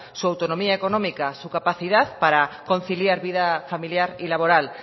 muy autonomía económica su capacidad para conciliar vida familiar y laboral